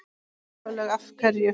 Sólveig: Af hverju?